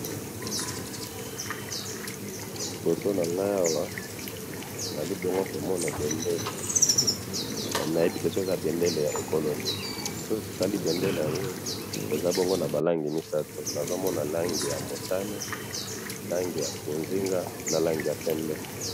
liboso nanga awa nazali mbona ko mona bendele naye bite soki eza bendele ya ekolo nini soki tola yango eza bongo naba langi misatu nazo mona langi ya motane langi ya bozinga na langi ya pembe